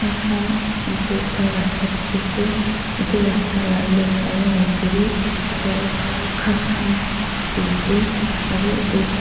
khan yatae ekta rasta dikhiase edu rasta la left aro right tae bi khor ghas khan bishi dikiase aru edu--